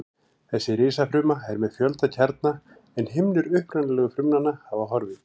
Þessi risafruma er með fjölda kjarna en himnur upprunalegu frumnanna hafa horfið.